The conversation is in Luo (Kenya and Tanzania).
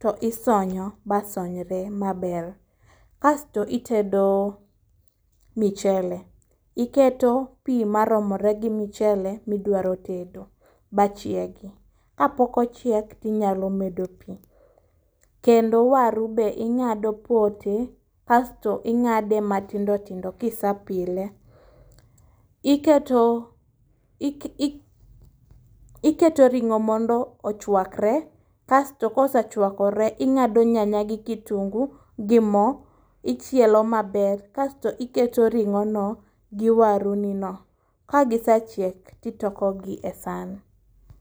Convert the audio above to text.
to isonyo ba sonyre maber, kasto itedo michele. Iketo pi maromore gi mchele midwaro tedo, ba chiegi. Ka pok ochiek tinya medo pi. Waru be ing'ado pote, kasto ing'ade matindo tindo kise pile. Iketo iketo ring'o mondo ochwakre, kasto kosechwakore, ing'ado nyanya gi kitungu gi mo ichielo maber. Kasto iketo ring'o no gi waru i no, ka gisechiek titoko gi e san.